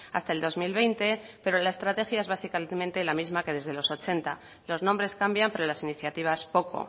hasta el dos mil veinte pero la estrategia es básicamente la misma que desde los ochenta los nombres cambian pero las iniciativas poco